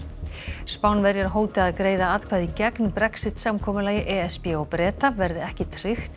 Spánverjar hóta að greiða atkvæði gegn Brexit samkomulagi e s b og Breta verði ekki tryggt